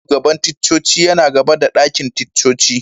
Ofishin shugaban ticcoci yana gaba da dakin ticcoci.